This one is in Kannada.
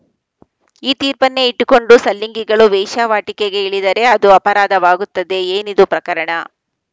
ಈ ತೀರ್ಪನ್ನೇ ಇಟ್ಟುಕೊಂಡು ಸಲಿಂಗಿಗಳು ವೇಶ್ಯಾವಾಟಿಕೆಗೆ ಇಳಿದರೆ ಅದು ಅಪರಾಧವಾಗುತ್ತದೆ ಏನಿದು ಪ್ರಕರಣ